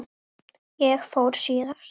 Ég fór síðast.